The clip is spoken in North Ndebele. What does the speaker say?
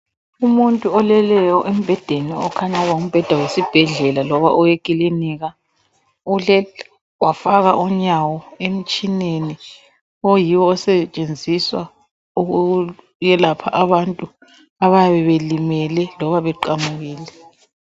Umuntu oleleyo embhedeni okukhanya ukuba ngumbheda wesibhedlela loba owekilinika uhleli wafaka unyawo emitshineni oyiwo osetshenziswa ukuyelapha abantu abayabe belimele loba beqamukile.